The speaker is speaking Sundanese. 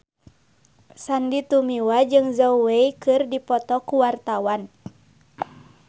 Sandy Tumiwa jeung Zhao Wei keur dipoto ku wartawan